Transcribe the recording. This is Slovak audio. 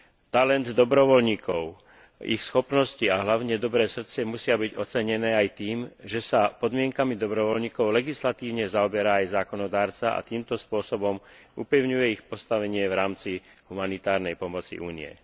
Talent dobrovoľníkov, ich schopnosti a hlavne dobré srdce musia byť ocenené aj tým, že sa podmienkami dobrovoľníkov legislatívne zaoberá aj zákonodarca a týmto spôsobom upevňuje ich postavenie v rámci humanitárnej pomoci Únie.